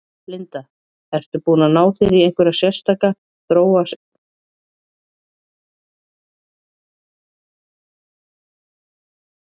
Linda: Ertu búinn að ná þér í einhverja sérstaka, þróa sérstaka tækni?